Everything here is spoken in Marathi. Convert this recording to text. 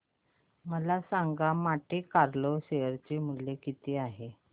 मला सांगा मॉन्टे कार्लो चे शेअर मूल्य किती आहे